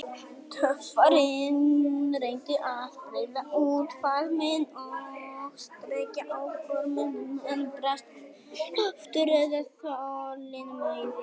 Töffarinn reyndi að breiða út faðminn og strekkja á gormunum, en brast kraftur eða þolinmæði.